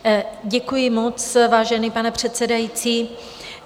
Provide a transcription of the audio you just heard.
Děkuji moc, vážený pane předsedající.